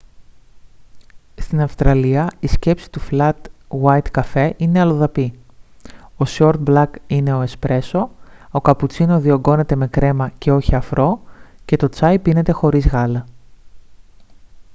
στην αυστραλία η σκέψη του flat white καφέ είναι αλλοδαπή ο short black είναι ο espresso ο cappuccino διογκώνεται με κρέμα και όχι αφρό και το τσάι πίνεται χωρίς γάλα